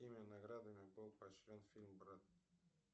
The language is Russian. какими наградами был поощрен фильм брат